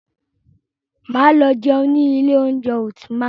Máa lọ jẹun ní ilé oúnjẹ Ultima.